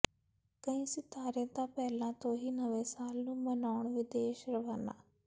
ਕਈ ਸਿਤਾਰੇ ਤਾਂ ਪਹਿਲਾਂ ਤੋਂ ਹੀ ਨਵੇਂ ਸਾਲ ਨੂੰ ਮਨਾਉਣ ਵਿਦੇਸ਼ ਰਵਾਨਾ